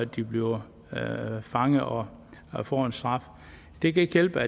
de bliver fanget og og får en straf det kan ikke hjælpe